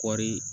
Kɔɔri